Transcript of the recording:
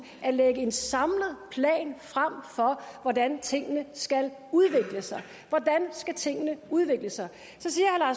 at lægge en samlet plan frem for hvordan tingene skal udvikle sig hvordan skal tingene udvikle sig